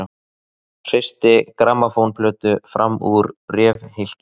Hristi grammófónplötu fram úr bréfhylki.